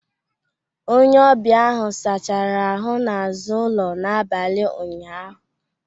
Onye ọbịa ahụ sachara ahụ n'azụ ụlọ n'abalị ụnyaahụ